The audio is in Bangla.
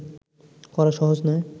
করা সহজ নয়